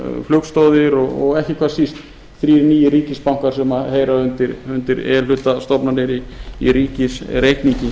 flugstoðir og ekki hvað síst þrír nýir ríkisbankar sem heyra undir e hluta ríkisstofnanir í ríkisreikningi